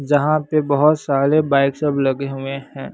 जहां पे बहोत सारे बाइक सब लगे हुए हैं।